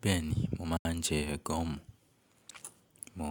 Bẹ́ẹ̀ni, mo máa ń jẹ gọ́ọ̀mù. Mo,